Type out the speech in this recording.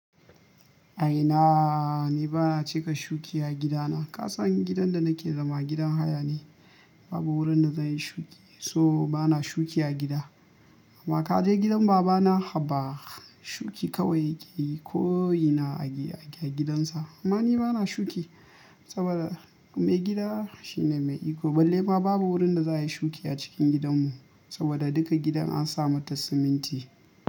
A ina? Ni ba na cika shuki a gidana. Ka san gidan da nake zama gidan haya ne, babu wurin da zan yi shuki, so ba na shuki a gida. Amma ka je gidan baba na Habba, shuki kawai yake koyi na a gya, a gyi gidansa. Amma ni ba na shuki saboda mai gida shine mai iko. Balle ma babu wurin da za a yi shuki a cikin gidanmu saboda duka gidan an sa mata siminti.